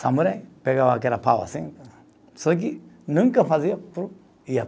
Samurai pegava aquela pau assim, só que nunca fazia,